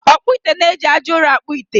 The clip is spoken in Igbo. Ọkpụ ite na-eji aja ụrọ akpụ ite